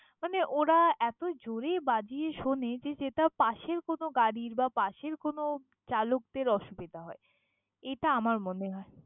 মানে ওরা এতো জোরে বাজিয়ে শোনে যে, যে তা পাশের কোনো গাড়ির বা পাশের কোনো চালকদের অসুবিধা হয়। এটা আমার মনে হয়।